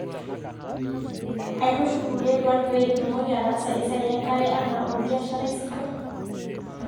aitushul kulie duat pee itumoki ataasa esiai enkare anaa olbiasharai sidai